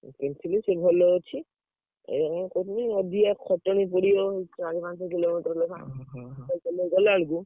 କିଣି ଥିଲି ସେ ଭଲ ଅଛି ଏଇଆ ମୁଁ କହୁଥିଲି ଅଧିକା ଖଟଣି ପଡିବ ଚାରି ପାଞ୍ଚ କିଲୋ ମିଟର ଲେଖା cycle ନେଇ ଗଲା ବେଳକୁ।